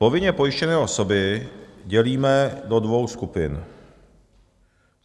"Povinně pojištěné osoby dělíme do dvou skupin.